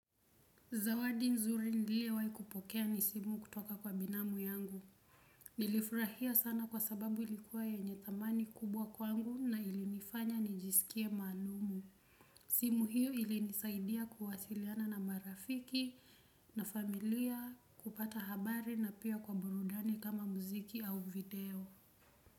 Zawadi nzuri ndiliyo wahi kupokea ni simu kutoka kwa binamu yangu. Nilifurahia sana kwa sababu ilikuwa yenye thamani kubwa kwangu na ilinifanya nijisikie maalumu. Simu hiyo ilinisaidia kuwasiliana na marafiki na familia kupata habari na pia kwa burudani kama muziki au video.